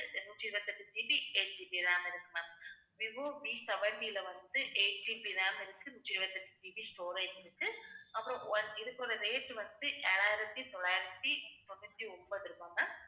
நூற்றி இருபத்தி எட்டு GBeightGBram இருக்கு ma'am விவோ Vseventy ல வந்து 8GB RAM இருக்கு. நூற்றி இருபத்தி எட்டு GB storage இருக்கு. அப்புறம் one இதுக்கோட rate வந்து ஏழாயிரத்தி தொள்ளாயிரத்தி தொண்ணூத்தி ஒன்பது ரூபாய் ma'am